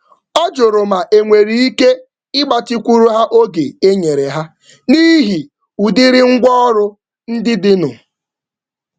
Ọ jụrụ ma enwere ike ịtụle oge njedebe dabere na akụrụngwa dịnụ.